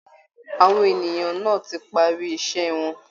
Àwọn ènìyàn náà ti parí iṣẹ́ wọn